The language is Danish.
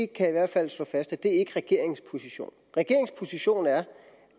kan i hvert fald slå fast at det ikke er regeringens position regeringens position er